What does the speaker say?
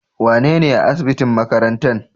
Wane ne a asibitin makarantan?